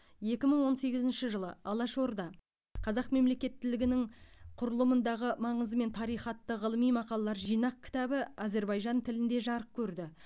екі мың он сегізінші жылы алаш орда қазақ мемлекеттілігінің құрылымындағы маңызы мен тарихы атты ғылыми мақалалар жинақ кітабы әзербайжан тілінде жарық көрді